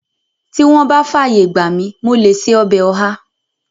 Tí wọ́n bá fàyè gbà mi, mo lè ṣe ọbẹ̀ ọ̀há